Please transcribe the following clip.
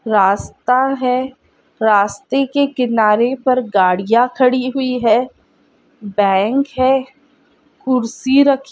रास्ता है रास्ते के किनारे पर गाड़िया खड़ी हुई है बैंक है कुर्सी रखी--